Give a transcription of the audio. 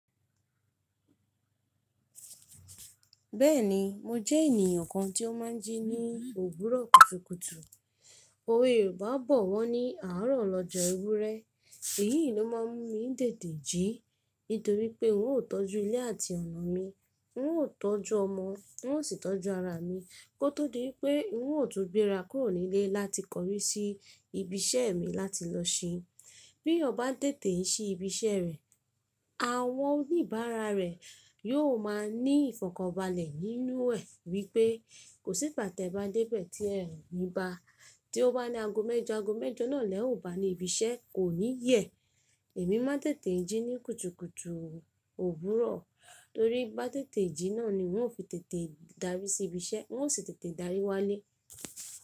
Bẹ́ẹ̀ni, mo jẹ́ ènìyàn kan tí ó máa ń jí ní òwúrọ̀ kùtùkùtù. Òwe Yorùbá bọ̀ wọ́ ní “àárọ̀ lọjọ́ ewúrẹ́”. Èyí ló má ń mi tètè jí. Nítorí pé n ó tọ́jú ilé àti ọ̀nà mi, n ó tọ́jú ọmọ, n ó sì tọ́jú ara mi. Kótó di wípé n ó tún gbéra kúrò nílé láti kọrí sí ibi iṣẹ́ mi láti lọ ṣín. Bí ọba ń tètè ń ṣí ibi iṣẹ́ rẹ̀, àwọn oníbàárà rẹ̀ yóò máa ní ìfọ̀kànbalẹ̀ nínú ẹ wípé kò sí pàtẹ́ bàa débẹ̀ tí ẹ ò ní ba. Tí ó bá ní ago mẹ́jọ, ago mẹ́jọ náà lẹ́ ò bá ní ibi iṣẹ́, kò ní yẹ. Èmi má ń tètè jí ní kùtùkùtù òwúrọ̀. Torí bá tètè jí náà ni wọn ó fi tètè darí sí ibi iṣẹ́, wọn ó sì tètè darí wá lé.